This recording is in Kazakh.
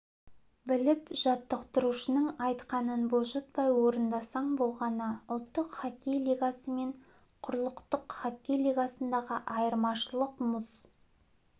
біліп жаттықтырушының айтқанын бұлжытпай орындасаң болғаны ұлттық хоккей лигасы мен құрлықтық хоккей лигасындағы айырмашылық мұз